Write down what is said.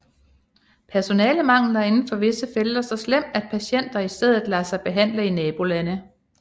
Personalemanglen er inden for visse felter så slem at patienter i stedet lader sig behandle i nabolande